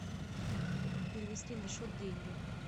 перевести на счет деньги